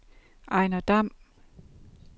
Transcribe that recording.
Ejnar Damm